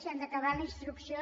si han d’acabar la instrucció